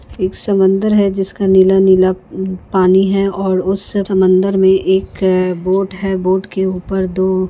एक समुंदर है जिसके नीला नीला पाणी है और समुंदर में बोट है बोट के ऊपर दो--